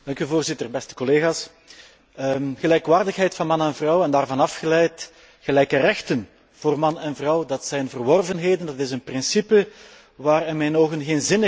Gelijkwaardigheid van man en vrouw, en daarvan afgeleid, gelijke rechten voor man en vrouw, dat zijn verworvenheden, dat is een principe waar in mijn ogen geen zinnig mens nog aan kan twijfelen.